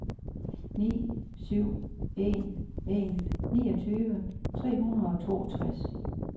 ni syv en en niogtyve tre hundrede og toogtres